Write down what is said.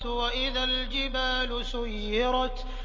وَإِذَا الْجِبَالُ سُيِّرَتْ